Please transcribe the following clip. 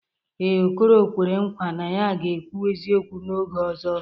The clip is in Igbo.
Ee, Okoro kwere nkwa na ya ga-ekwu eziokwu n'oge ọzọ.